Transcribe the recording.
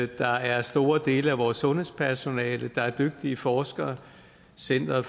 der er store dele af vores sundhedspersonale der er dygtige forskere center